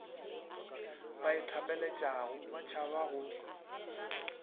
ba ithapeletšago ba tšhabago go